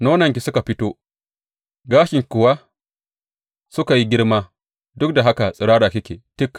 Nononki suka fito, gashinki kuwa suka yi girma, duk da haka tsirara kike tik.